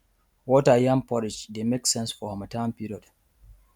water yam porridge dey make sense for harmattan period